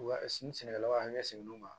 Wa sini sɛnɛkɛlasigidenw ma